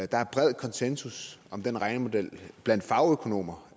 der er bred konsensus om den regnemodel blandt fagøkonomer